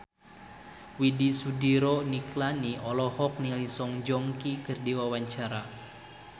Widy Soediro Nichlany olohok ningali Song Joong Ki keur diwawancara